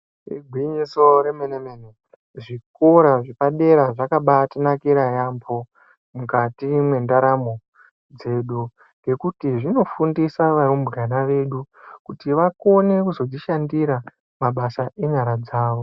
Igwinyiso remenemene zvikora zvepadera zvakabaatinakira yaamho mukati mwendaramo dzedu ngekuti zvinofundisa varubwana vedu kuti vakone kuzozvishandira mabasa enyara dzavo.